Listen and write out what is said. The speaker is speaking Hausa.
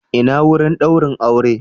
Ina wurin daurin aure?